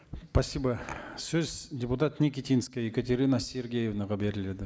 спасибо сөз депутат никитинская екатерина сергеевнаға беріледі